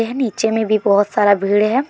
नीचे में भी बहोत सारा भीड़ है।